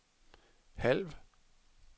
halv